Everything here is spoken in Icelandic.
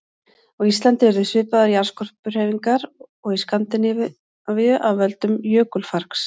Á Íslandi urðu svipaðar jarðskorpuhreyfingar og í Skandinavíu af völdum jökulfargs.